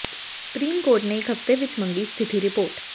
supreme court ਨੇ ਇਕ ਹਫ਼ਤੇ ਵਿਚ ਮੰਗੀ ਸਥਿਤੀ ਰਿਪੋਰਟ